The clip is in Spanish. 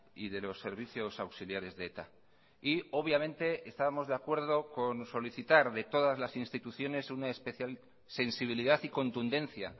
y de los servicios auxiliares de eta y obviamente estábamos de acuerdo con solicitar de todas las instituciones una especial sensibilidad y contundencia